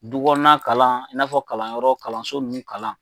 Du kɔnɔna, in n'a fɔ kalanyɔrɔ kalanso ninnu kalan.